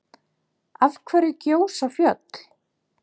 Af hverju gjósa fjöll?